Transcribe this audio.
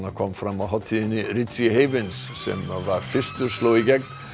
kom fram á hátíðinni richie Havens sem var fyrstur sló í gegn